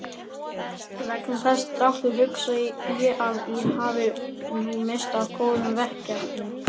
Vegna þessa dráttar hugsa ég að ég hafi nú misst af góðum verkefnum.